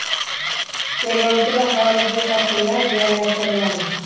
terrorchi va xorijiy qotillar joylashtiriladi.